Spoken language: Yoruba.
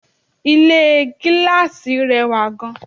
Ilé gíláàsì rẹwà gan